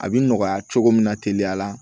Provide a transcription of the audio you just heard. A bi nɔgɔya cogo min na teliya la